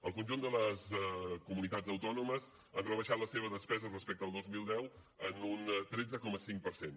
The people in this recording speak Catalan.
el conjunt de les comunitats autònomes han rebaixat la seva despesa respecte al dos mil deu en un tretze coma cinc per cent